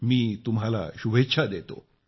मी तुम्हाला शुभेच्छा देतो